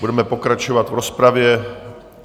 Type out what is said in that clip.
Budeme pokračovat v rozpravě.